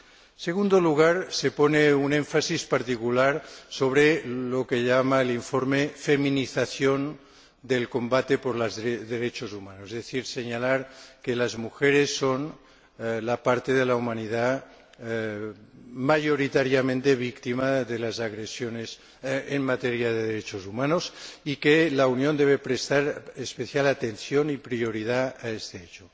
En segundo lugar, se pone un énfasis particular sobre lo que el informe denomina feminización del combate por los derechos humanos, es decir, se señala que las mujeres son la parte de la humanidad mayoritariamente víctima de las agresiones en materia de derechos humanos y que la Unión debe prestar especial atención y prioridad a este hecho.